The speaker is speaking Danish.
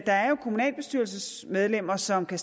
kommunalbestyrelsesmedlemmer som kan